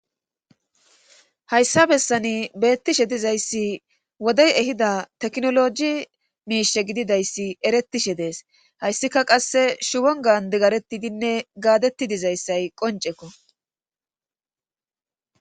Hayssa bessani beettishe dizayssi wodey ehida teknologi miishe gididayssi erettishe dees hayssika qasse shuwon gaandi garettidinne gaadetti dizayssay qoncekko.